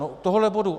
No tohohle bodu.